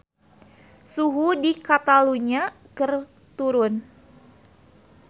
Suhu di Catalunya keur turun